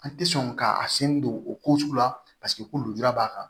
An tɛ sɔn ka a sen don o ko sugu la paseke ko lujura b'a kan